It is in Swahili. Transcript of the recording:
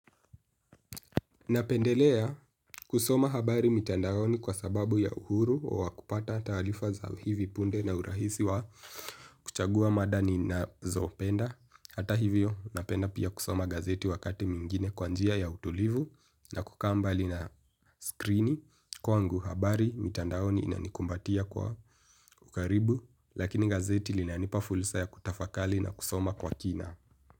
Napendelea kusoma habari mitandaoni kwa sababu ya uhuru wa kupata taarifa za hivi punde na urahisi wa kuchagua mada ninazopenda. Hata hivyo napenda pia kusoma gazeti wakati mingine kwa njia ya utulivu na kukaa mbali na skrini. Kwangu habari mitandaoni inanikumbatia kwa ukaribu lakini gazeti linanipa fursa ya kutafakari na kusoma kwa kina.